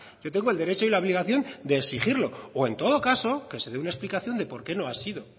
yo tengo el derecho y la obligación de exigirlo o en todo caso que se dé una explicación de porqué no ha sido